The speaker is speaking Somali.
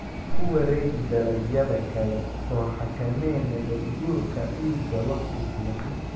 Ku wareeg dalagyada kale oo xakamee nabaadguurka ciidda wakhti fiican.